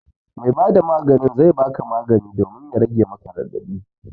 Mai ba da maganin zai ba ka magani domin ya rage maka raɗaɗi